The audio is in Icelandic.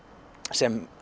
sem